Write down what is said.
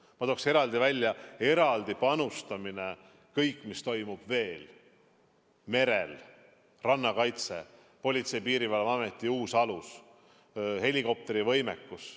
Ma tooks eraldi välja panustamise kõigesse, mis toimub veel, merel, rannakaitses, Politsei- ja Piirivalveameti uus alus, helikopterivõimekus.